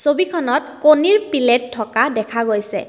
ছবিখনত কণীৰ পিলেট থকা দেখা গৈছে।